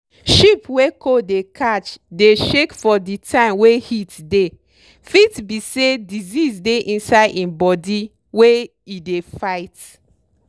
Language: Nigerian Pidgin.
sheep wey cold dey catch dey shake for di time wey heat dey fit be say disease dey inside im body wey e dey fight.